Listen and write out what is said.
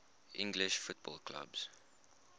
english football clubs